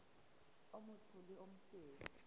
o motsho le o mosweu